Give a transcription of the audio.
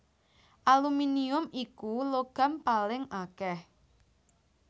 Aluminium iku logam paling akèh